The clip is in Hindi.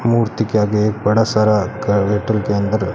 मूर्ति के आगे एक बड़ा सारा घर के अंदर--